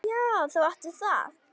Já, þú átt við það!